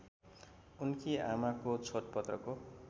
उनकी आमाको छोडपत्रको